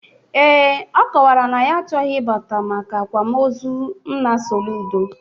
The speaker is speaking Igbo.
Ee, ọ kọwara na ya achọghị ịbata maka akwamozu nna Soludo